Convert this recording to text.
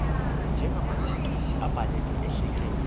njengamathekisthi abhaleke ahleleka